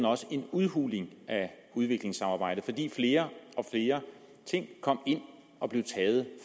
også en udhulning af udviklingssamarbejdet fordi flere og flere ting kom ind og blev taget